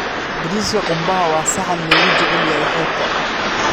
Bariiska qumbaha waa saxan loogu jecel yahay xeebta.